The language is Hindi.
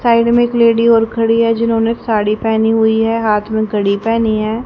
साइड में एक लेडी और खड़ी है जिन्होंने साड़ी पहनी हुई है हाथ में घड़ी पहनी है।